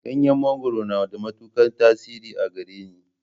Ganyen mangwaro na da matukar tasiri a gareni.